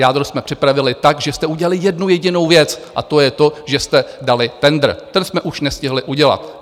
Jádro jsme připravili tak, že jste udělali jednu jedinou věc, a to je to, že jste dali tendr, ten jsme už nestihli udělat.